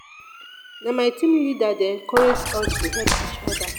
na my team leader dey encourage us to help each oda.